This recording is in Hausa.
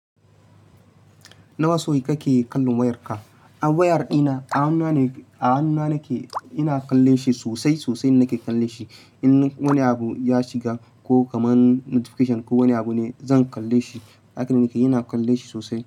Nawa sau kake kallon wayarka? Wayar ɗina a hannuna nake, a hannuna nake ina kallon shi sosai sosai nake kallon shi. In wani abu ya shiga ko kamar notification ko wani abu ne zan kalle shi. Haka nake yi, ina kalle shi sosai.